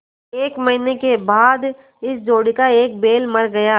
एक महीने के बाद इस जोड़ी का एक बैल मर गया